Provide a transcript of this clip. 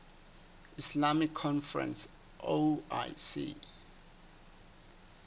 islamic conference oic